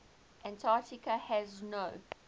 antarctica has no